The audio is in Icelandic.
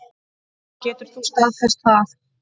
Getur þú staðfest það?